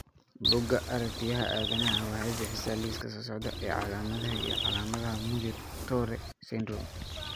Bugga Aragtiyaha Aanadanaha waxay bixisaa liiska soo socda ee calaamadaha iyo calaamadaha Muir Torre syndrome.